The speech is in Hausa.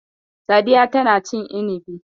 Sadiya tana cin inibi.